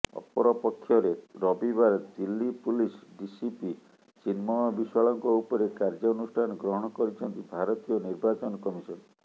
ଅପରପକ୍ଷରେ ରବିବାର Delhi police DCP Chinmay ବିଶ୍ବାଳଙ୍କ ଉପରେ କାର୍ଯ୍ୟାନୁଷ୍ଠାନ ଗ୍ରହଣ କରିଛନ୍ତି ଭାରତୀୟ ନିର୍ବାଚନ କମିଶନ